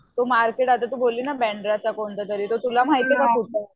तो मार्केट आता तू बोलली ना बांद्राचा कोणता तरी तो तुला माहिती का कुठं आहे?